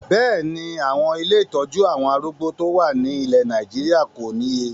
Bẹ́ẹ̀ni, àwọn ilé ìtọ́jú àwọn arúgbó tó wà ní ilẹ̀ Nàìjíríà kò níye